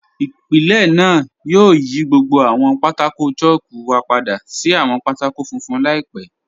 Ìpílẹ̀ náà yóò yí gbogbo àwọn pátákò̀ chalku wa padà sí àwọn pátákò̀ fúnfun laípẹ̀.